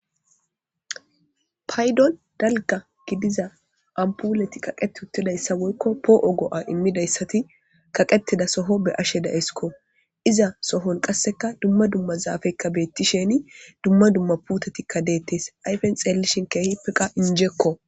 paydon dalga gidiza ampuleti qaqet huttidayssa woykko poo'o go'a immidayssati kaqetida soho be'ashe da'esikko iza sohon qasseka dumma dumma zaafekka beetti sheni dumma dumma putetikka deettes ayfen xeellishin keehippeka inijekko